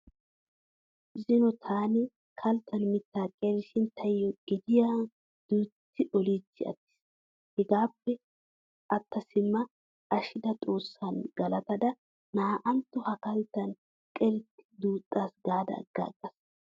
Zino taani kalttan mittaa qerishin tayyo gediyaa duutti oliichchi attis. Hegaappe atta simma ashshida xoossaanne galataydda na"antto ha kalttan qerikke duuxxaas gaada aggaagaas.